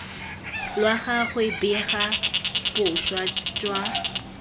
lwa gagwe bega boswa jwa